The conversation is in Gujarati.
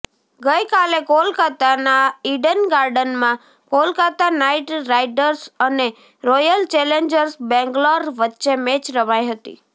ગઈકાલે કોલકાતાના ઈડન ગાર્ડનમાં કોલકાતા નાઈટ રાઈડર્સ અને રોયલ ચેલેન્જર્સ બેંગ્લોર વચ્ચે મેચ રમાઈ હતી